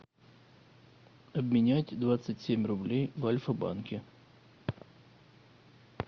обменять двадцать семь рублей в альфа банке